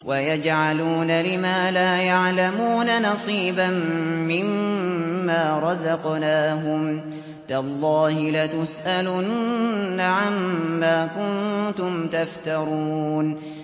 وَيَجْعَلُونَ لِمَا لَا يَعْلَمُونَ نَصِيبًا مِّمَّا رَزَقْنَاهُمْ ۗ تَاللَّهِ لَتُسْأَلُنَّ عَمَّا كُنتُمْ تَفْتَرُونَ